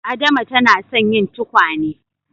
Adama ta na son yin tukwane